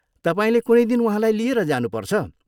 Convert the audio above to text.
तपाईँले कुनै दिन उहाँलाई लिएर जानुपर्छ।